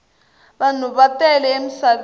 vanhu va tele emisaveni